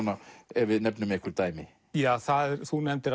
ef við nefnum einhver dæmi þú nefndir